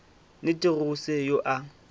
nnete go se yo a